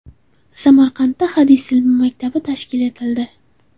Samarqandda hadis ilmi maktabi tashkil etildi.